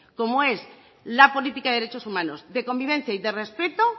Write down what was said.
como es la política de derechos humanos de convivencia y de respeto